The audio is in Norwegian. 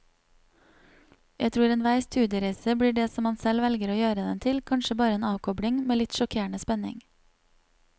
Jeg tror enhver studiereise blir det som man selv velger å gjøre den til, kanskje bare en avkobling, med litt sjokkerende spenning.